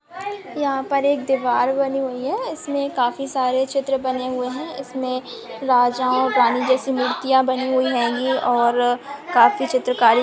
यहा पर एक दीवार बनी हुई है इसमे काफी सारे चित्र बने हुए है इसमे राजा और रानी जैसी मूर्तिया बनी हुई है ये और काफी चित्र कारी--